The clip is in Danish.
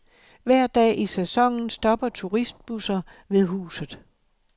Hver dag i sæsonen stopper turistbusser ved huset.